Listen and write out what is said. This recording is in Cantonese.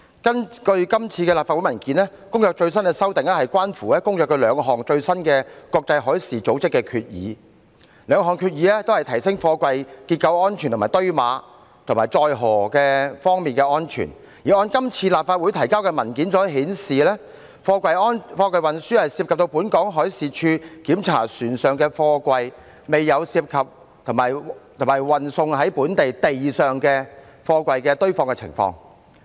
根據今次立法會的文件，《公約》的最新修訂關乎《公約》兩項最新的國際海事組織決議，該兩項決議均會提升貨櫃結構、堆碼及載荷方面的安全，而按今次立法會提交的文件顯示，貨櫃運輸涉及到本港海事處檢查船上貨櫃，卻未有涉及在本地陸上運輸貨櫃堆放的情況。